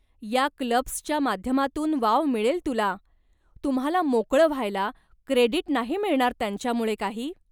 ह्या क्लब्जच्या माध्यमातून वाव मिळेल तुला, तुम्हाला मोकळं व्हायला, क्रेडीट नाही मिळणार त्यांच्यामुळे काही.